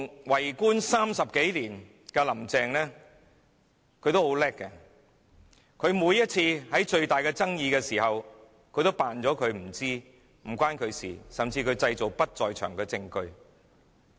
為官30多年的林鄭月娥十分厲害，每次出現重大爭議，她也裝作不知情、與她無關，甚至製造不在場證據。